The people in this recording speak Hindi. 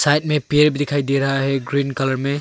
साइड में पेड़ भी दिखाई दे रहा है ग्रीन कलर में।